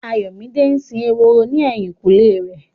Ayọ̀mídé ń sin ehoro ní ẹ̀yìnkùlé rẹ̀.